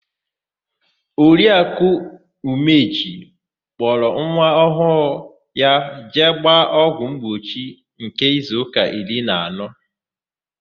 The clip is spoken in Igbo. Oriakụ Umeji kpọrọ nwa ọhụụ ya jee gbaa ọgwụ mgbochi nke izuụka iri na anọ.